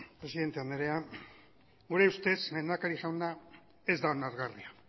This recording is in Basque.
presidente andrea gure ustez lehendakari jauna ez da onargarria